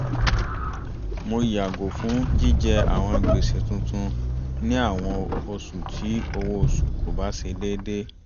mo yààgò fún jíjẹ àwọn gbèsè tuntun ní àwọn oṣù tí owó oṣù kò bá ṣe déédé